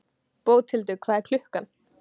Bóthildur, hvað er klukkan?